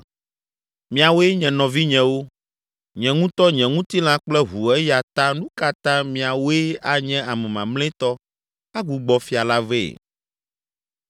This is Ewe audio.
Miawoe nye nɔvinyewo, nye ŋutɔ nye ŋutilã kple ʋu eya ta nu ka ta miawoe anye ame mamlɛtɔ agbugbɔ Fia la vɛ?’